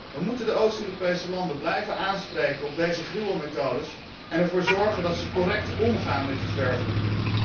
Wij moeten de Oost Europese landen blijven aanspreken op deze gruwelmethodes en ervoor zorgen dat zij correct omgaan met die zwerfhonden.